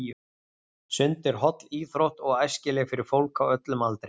Sund er holl íþrótt og æskileg fyrir fólk á öllum aldri.